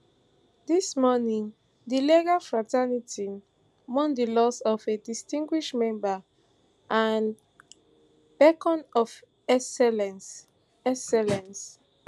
dis morning di legal fraternity mourn di loss of a distinguished member and beacon of excellence excellence